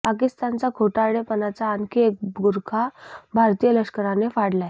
पाकिस्तानचा खोटारडेपणाचा आणखी एक बुरखा भारतीय लष्करानं फाडलाय